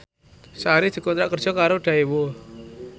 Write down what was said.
Sari dikontrak kerja karo Daewoo